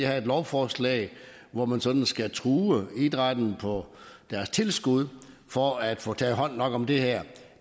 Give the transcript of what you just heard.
have et lovforslag hvor man sådan skal true idrætten på deres tilskud for at få taget hånd nok om det her